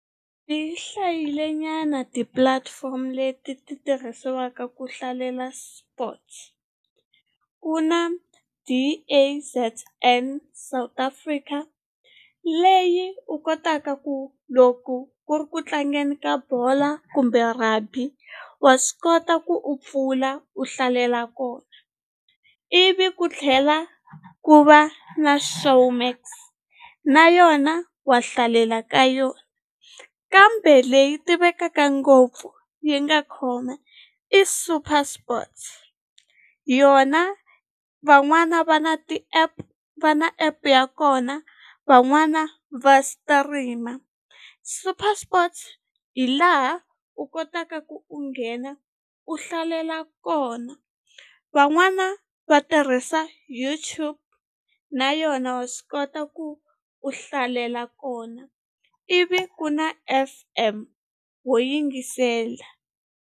Ti hlayile nyana ti-platform leti ti tirhisiwaka ku hlalela sports ku na South Africa leyi u kotaka ku loko ku ri ku tlangeni ka bola kumbe rugby wa swi kota ku u pfula u hlalela kona ivi ku tlhela ku va na Showmax na yona wa hlalela ka yona kambe leyi tivekaka ngopfu yi nga khoma i Super Sports yona van'wana va na ti-app va na app ya kona van'wana va stream-a Super Sports hi laha u kotaka ku u nghena u hlalela kona van'wana va tirhisa YouTube na yona wa swi kota ku u hlalela kona ivi ku na F_M ho yingisela.